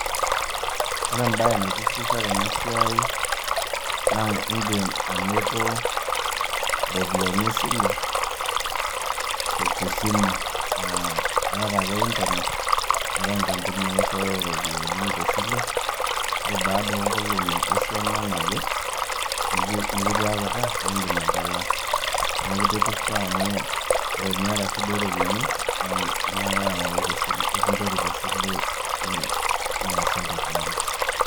Ore embae naitishipisho tena siai naa indim ainoto iropiani esile te simu. Iata ake internet, eatai inkampunini naishooyo iropiani te sile, ore baada onkolong'i esiana naje, nekitiaita, nindim atalaa, neaku eitishipisho amu ore ake iata shida o ropiani, ilo ake ayau tesile ekinchori te sile niasie entoki niyeu